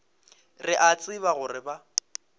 re a tseba gore ba